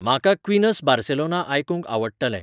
म्हाका Queen's Barcelona आयकूंक आवडटलें